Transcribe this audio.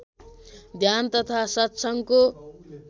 ध्यान तथा सत्सँगको